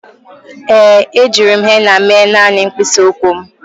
Ee, ejiri m henna mee naanị mkpịsị ụkwụ m.